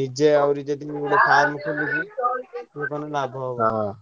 ନିଜେ ଆହୁରି ଯଦି ମୁଁ ଗୋଟେ farm ଖୋଲିବି ଲାଭ ହବ।